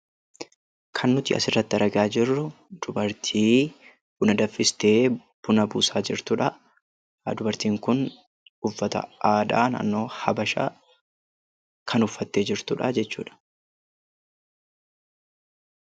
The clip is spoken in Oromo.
Kan nuti asirratti argaa jirru dubartii buna danfistee buna buusaa jirtudha. Dubartiin kun uffata aadaa habashaa kan uffattee jirtudha jechuudha